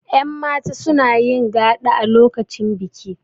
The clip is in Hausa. yanmata suna yin gaɗa a lokacin biki